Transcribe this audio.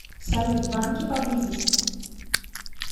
салют банки поблизости